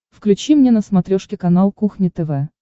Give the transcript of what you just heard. включи мне на смотрешке канал кухня тв